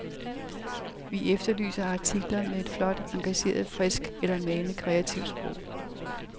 Vi efterlyser artikler med et flot, engagerende, friskt eller malende kreativt sprog.